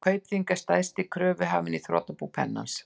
Kaupþing er stærsti kröfuhafinn í þrotabú Pennans.